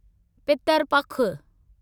पितरु पखु